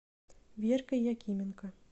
веркой якименко